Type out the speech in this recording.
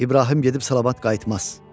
İbrahim gedib salavat qayıtmaz.